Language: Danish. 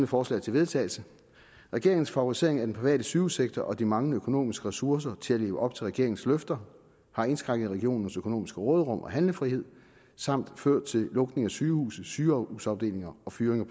forslag til vedtagelse regeringens favorisering af den private sygehussektor og de manglende økonomiske ressourcer til at leve op til regeringens løfter har indskrænket regionernes økonomiske råderum og handlefrihed samt ført til lukninger af sygehuse sygehusafdelinger og fyringer